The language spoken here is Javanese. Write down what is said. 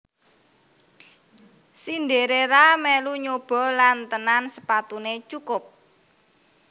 Cinderella melu nyoba lan tenan sepatunè cukup